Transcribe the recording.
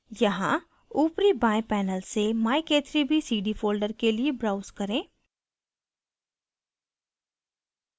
यहाँ ऊपरी बाएं panel से myk3bcd folder के लिए browse करें